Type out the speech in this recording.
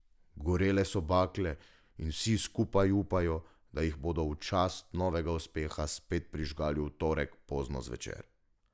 Gorele so bakle in vsi skupaj upajo, da jih bodo v čast novega uspeha spet prižgali v torek pozno zvečer.